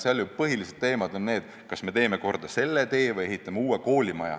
Seal ju põhilised teemad on sellised, kas me teeme mingi tee korda või ehitame uue koolimaja.